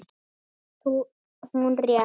Henni finnst hún rétt.